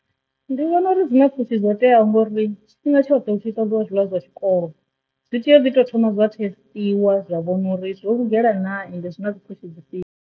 Ndi vhona uri dzi na pfushi dzo teaho ngori tshifhinga tshoṱhe hu tshi ita diḽa zwiḽiwa zwa tshikolo zwi tea u ḓi tou thoma dza thesitiwa zwa vhona uri dzo lugela na ende zwi na dzi pfhushi dzhifhio.